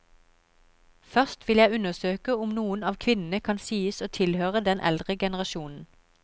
Først vil jeg undersøke om noen av kvinnene kan sies å tilhøre den eldre generasjonen.